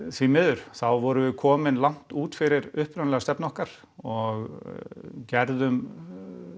því miður þá vorum við komin langt út fyrir upprunalega stefnu okkar og gerðum